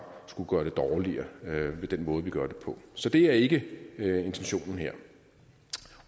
skulle gøre det dårligere ved den måde vi gør det på så det er ikke intentionen her